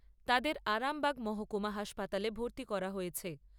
তাদের আরামবাগ মহকুমা হাসপাতালে ভর্তি করা হয়েছে।